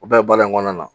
U bɛɛ ye baara in kɔnɔna na